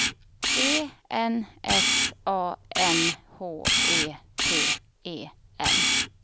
E N S A M H E T E N